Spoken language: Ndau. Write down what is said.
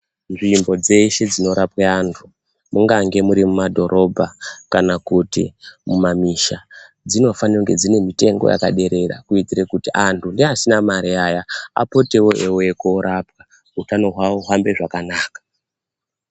Nzvimbo dzeshe dzinorapwe antu mungange muri mumadhorobha kana kuti mumamisha, dzinofane kunge dzine mitengo yakaderera kuitire kuti antu neasina mari aya, apotewo eyiuye korapwa. Hutano hwawo huhambe zvakanaka.